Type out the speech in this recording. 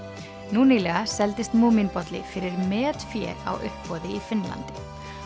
nú nýlega seldist fyrir metfé á uppboði í Finnlandi